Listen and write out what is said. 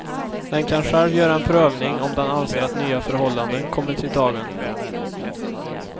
Den kan själv göra en prövning om den anser att nya förhållanden kommit i dagen.